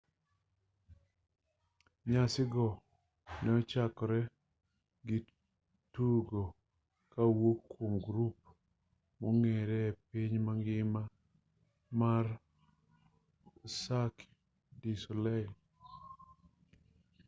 nyasi go ne ochakore gi tugo kowuok kwom grup mong'ere e piny mangima mar cirque du soleil